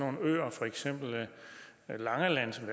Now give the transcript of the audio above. for eksempel langeland som